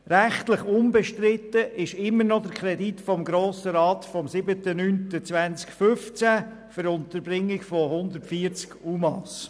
Rechtlich unbestritten ist immer noch der Kredit des Grossen Rats vom 07.09.2015 für die Unterbringung von 140 UMA.